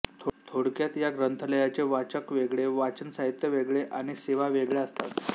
थोडक्यात या ग्रंथालयाचे वाचक वेगळे वाचन साहित्य वेगळे आणि सेवा वेगळ्या असतात